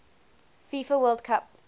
fifa world cup